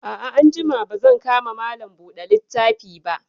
A'a, anjima ba zan ka ma Malam buɗe littafi ba